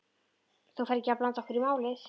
Þú ferð ekkert að blanda okkur í málið?